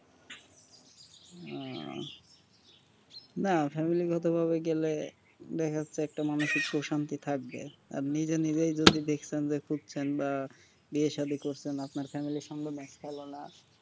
ওহ না family গত ভাবে গেলে দেখেন যে একটা মানুষিক প্রশান্তি থাকবে আর নিজে নিজেই যদি দেখছেন খুঁজছেন বা বিয়ে সাদি করছেন আপনার family সম্বধনা আর পেলো না,